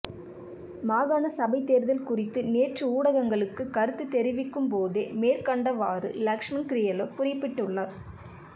மாகாண சபை தேர்தல் குறித்து நேற்று ஊடகங்களுக்கு கருத்து தெரிவிக்கும்போதே மேற்கண்டவாறு லக்ஷ்மன் கிரியெல்ல குறிப்பிட்டுள்ளார்